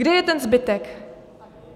Kde je ten zbytek?